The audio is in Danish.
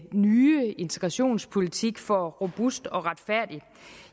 nye integrationspolitik for robust og retfærdig